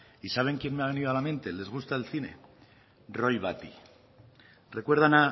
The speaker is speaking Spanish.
y saben quién me ha venido a la mente les gusta el cine roy batty recuerdan